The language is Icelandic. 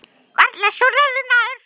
SKÚLI: Varla súrari en áður.